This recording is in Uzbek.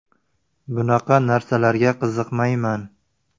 Bunaqa narsalarga qiziqmayman.